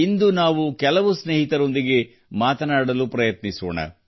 ಇಂದು ನಾವು ಕೆಲವು ಸ್ನೇಹಿತರೊಂದಿಗೆ ಮಾತನಾಡಲು ಪ್ರಯತ್ನಿಸೋಣ